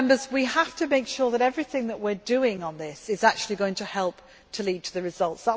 We have to make sure that everything that we are doing on this is actually going to help to lead to the results.